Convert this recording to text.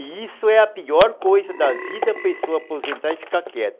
E isso é a pior coisa da vida, a pessoa aposentar e ficar quieta.